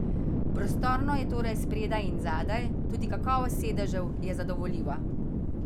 Prostorno je torej spredaj in zadaj, tudi kakovost sedežev je zadovoljiva.